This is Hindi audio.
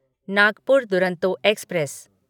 नागपुर दुरंतो एक्सप्रेस